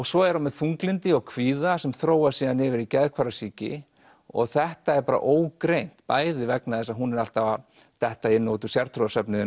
svo er hún með þunglyndi og kvíða sem þróast síðan yfir í geðhvarfasýki og þetta er bara ógreint bæði vegna þess að hún er alltaf að detta inn og út úr sértrúarsöfnuði